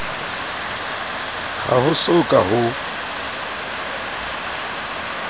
ha ho so ka ho